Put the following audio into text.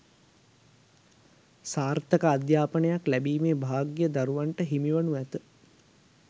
සාර්ථක අධ්‍යාපනයක් ලැබීමේ භාග්‍යය දරුවන්ට හිමි වනු ඇත